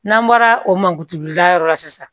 N'an bɔra o man kuturu da yɔrɔ la sisan